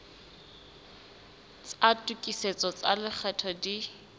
tsa tokisetso tsa lekgetho di